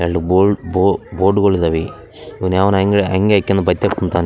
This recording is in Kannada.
ಎಲ್ಡು ಬೋರ್ಡ್ ಬೋ ಬೋರ್ಡ್‌ಗಳಿದಾವೆ ಇವ್ನು ಯಾವನೋ ಅಂಗ್ ಅಂಗಾಯ್ಕೊಂಡು ಬೈಕ್ದಗ್ ಕುಂತಾವ್ನೆ.